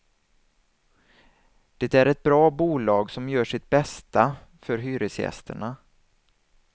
Det är ett bra bolag, som gör sitt bästa för hyresgästerna.